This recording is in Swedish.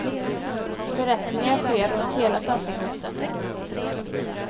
Förrättningar sker runt hela svenska kusten.